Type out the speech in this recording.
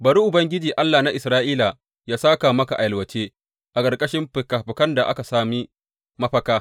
Bari Ubangiji, Allah na Isra’ila yă sāka maka a yalwace, a ƙarƙashin fikafikan da ka sami mafaka.